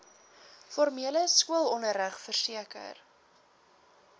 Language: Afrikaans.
formele skoolonderrig verseker